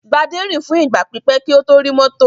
Gbadé rìn fún ìgbà pípẹ́ kó tó rí mọ́tò.